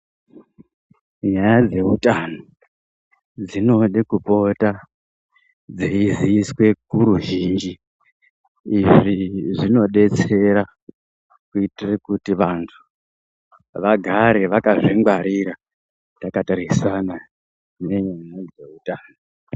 Nyaya dzehutano dzinode kupota dzeiziviswe kuruzhinji. Izvi zvinobetsera kuitire kuti vantu vagare vakazvingwarira takatarisana nezveutano.